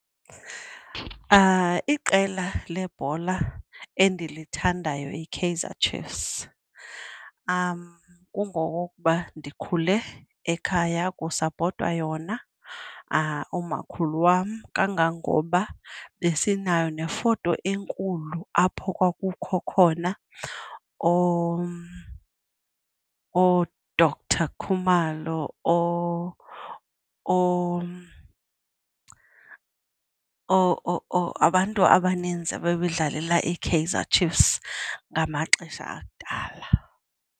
Iqela lebhola endilithandayo yiKaizer Chiefs. Kungokuba ndikhule ekhaya kusapotwa yona. Umakhulu wam, kangangoba besinayo nefoto enkulu apho kwakukho khona ooDoctor Khumalo, abantu abaninzi abebedlalela iKaizer Chiefs ngamaxesha akudala.